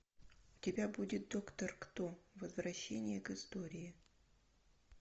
у тебя будет доктор кто возвращение к истории